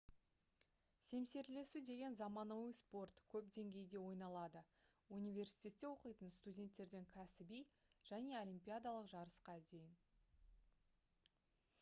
семсерлесу деген заманауи спорт көп деңгейде ойналады университетте оқитын студенттерден кәсіби және олимпиадалық жарысқа дейін